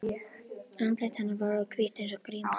Andlit hennar var orðið hvítt eins og gríma.